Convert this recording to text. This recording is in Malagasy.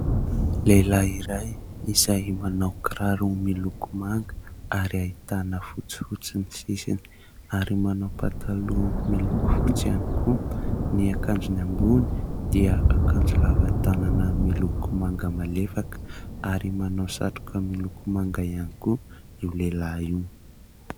Lehilahy iray izay manao kiraro miloko manga ary ahitana fotsifotsy ny sisiny ary manao pataloha miloko fotsy ihany koa, ny akanjony ambony dia akanjo lava tanana miloko manga malefaka ary manao satroka miloko manga ihany koa io lehilahy io.